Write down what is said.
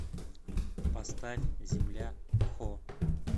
поставь земля хо